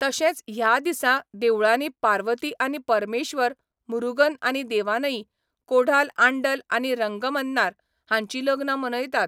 तशेंच ह्या दिसा देवळांनी पार्वती आनी परमेश्वर, मुरुगन आनी देवानई, कोढाई आंडल आनी रंगमन्नार हांचीं लग्नां मनयतात.